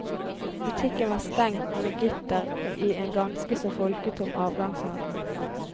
Butikkene var stengt med gitter i en ganske så folketom avgangshall.